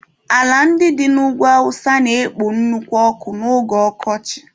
Ala ndị dị n'ugwu awụsa na-ekpo nnukwu ọkụ n'oge ọkọchị.